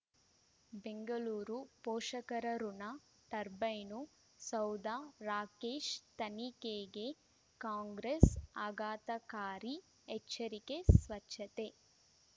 ಬೆಂಗಳೂರು ಪೋಷಕರಋಣ ಟರ್ಬೈನು ಸೌಧ ರಾಕೇಶ್ ತನಿಖೆಗೆ ಕಾಂಗ್ರೆಸ್ ಆಘಾತಕಾರಿ ಎಚ್ಚರಿಕೆ ಸ್ವಚ್ಛತೆ